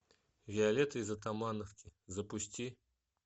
виолетта из атамановки запусти